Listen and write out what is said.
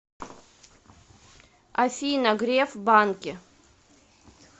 афина греф банки